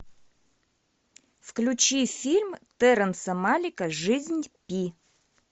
включи фильм терренса малика жизнь пи